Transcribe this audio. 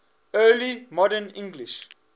early modern english